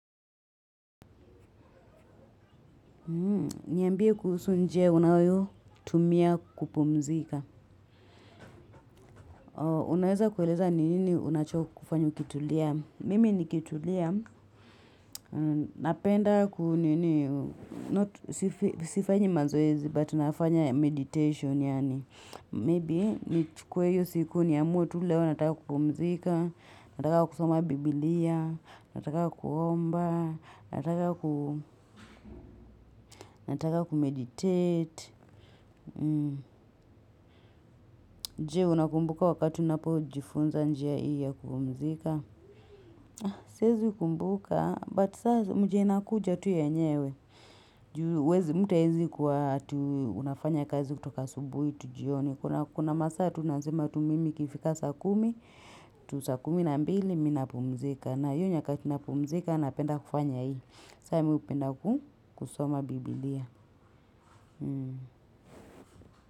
Niyambie kuhusu njia unayo tumia kupumzika. Unaweza kuweleza nini unacho kufanya kutulia. Mimi nikitulia. Napenda kunini, not sifanyi mazoezi, but nafanya meditation. Maybe nichukue hiyo siku niamue tu leo nataka kupumzika, nataka kusoma biblia, nataka kuomba, nataka kumeditate. Jee unakumbuka wakati unapo jifunza njia iya kupumzika. Siezikumbuka but saa mjena kuja tu yenyewe. Juu huwezi mtu hawezi kuwa ati unafanya kazi kutoka asubuhi tu jioni. Kuna masaa tu nazima tu mimi ikifika saa kumi. Tu saa kumi na mbili mi napumzika. Na hio nyakati napumzika napenda kufanya hivi. Sa mi hupenda kusoma biblia.